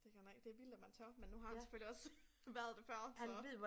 Det godt nok det vildt at man tør men nu har han selvfølgelig også været det før så